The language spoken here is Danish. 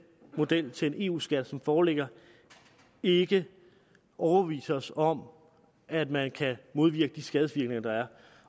model til en eu skat som foreligger ikke overbeviser os om at man kan modvirke de skadevirkninger der er